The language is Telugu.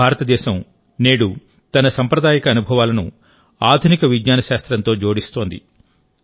భారతదేశం నేడు తన సాంప్రదాయిక అనుభవాలను ఆధునిక విజ్ఞాన శాస్త్రంతో జోడిస్తోంది